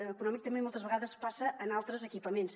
econòmic també moltes vegades passa en altres equipaments